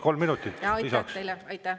Kolm minutit lisaks siis.